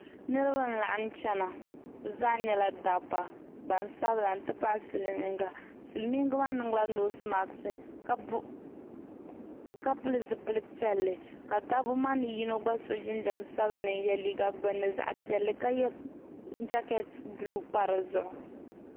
Niriba n laɣim chana bi zaa nyɛla dabba gbansabila n ti pahi silmiinga silmiinga maa niŋ la noosi maks ka pili zipili piɛlli ka dabba maa ni yino gba so jinjam sabinli n yɛ liiga gbunni zaɣa piɛlli ka yɛ jakɛt buluu pa di zuɣu.